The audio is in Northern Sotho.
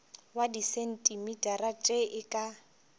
wa disentimetara tše e ka